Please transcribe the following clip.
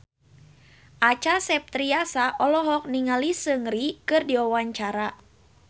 Acha Septriasa olohok ningali Seungri keur diwawancara